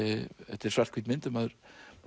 þetta er svarthvít mynd en maður